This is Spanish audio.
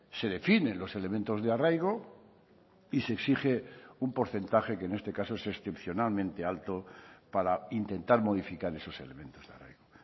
se definen los elementos de arraigo y se exige un porcentaje que en este caso es excepcionalmente alto para intentar modificar esos elementos de arraigo